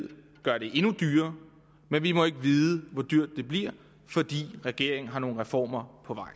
ved gør det endnu dyrere men vi må ikke vide hvor dyrt det bliver fordi regeringen har nogle reformer